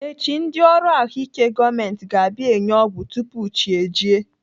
Echi, ndị ọrụ ahụike gọọmenti ga-abịa enye ọgwụ tupu chi ejie.